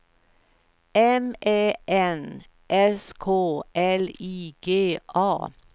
M Ä N S K L I G A